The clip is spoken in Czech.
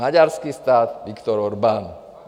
Maďarský stát, Viktor Orbán.